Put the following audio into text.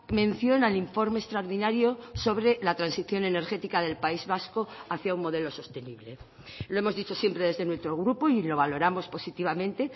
mención al informe extraordinario sobre la transición energética del país vasco hacia un modelo sostenible lo hemos dicho siempre desde nuestro grupo y lo valoramos positivamente